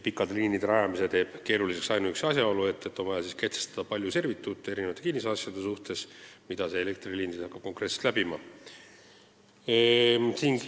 Pikkade liinide rajamise teeb keeruliseks ainuüksi asjaolu, et siis on vaja kehtestada palju servituute eri maatükkide kasutamiseks, mida uus elektriliin hakkaks läbima.